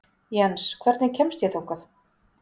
Jens, hvernig kemst ég þangað?